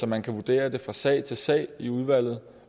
man kan vurdere det fra sag til sag i udvalget